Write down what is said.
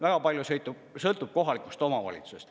Väga palju sõltub kohalikust omavalitsusest.